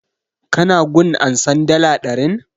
Ka na gun ansan dala ɗarin?